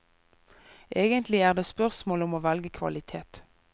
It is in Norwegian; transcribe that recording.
Egentlig er det spørsmål om å velge kvalitet.